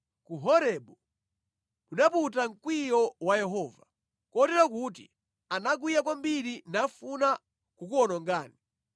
Ku Horebu munaputa mkwiyo wa Yehova, kotero kuti anakwiya kwambiri nafuna kukuwonongani.